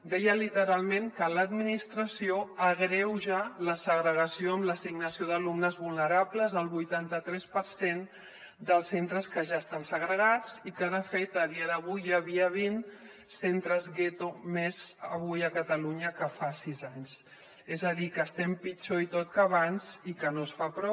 deia literalment que l’administració agreuja la segregació amb l’assignació d’alumnes vulnerables al vuitanta tres per cent dels centres que ja estan segregats i que de fet a dia d’avui hi havia vint centres gueto més avui a catalunya que fa sis anys és a dir que estem pitjor i tot que abans i que no es fa prou